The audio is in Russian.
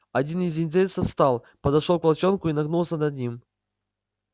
один из индейцев встал подошёл к волчонку и нагнулся над ним